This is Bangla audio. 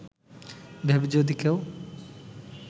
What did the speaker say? ভেবে যদি কেউ